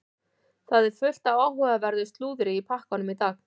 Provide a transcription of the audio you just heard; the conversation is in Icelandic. Það er fullt af áhugaverðu slúðri í pakkanum í dag.